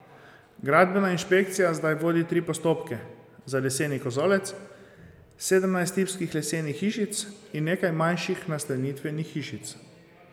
Gradbena inšpekcija zdaj vodi tri postopke, za leseni kozolec, sedemnajst tipskih lesenih hišic in nekaj manjših nastanitvenih hišic.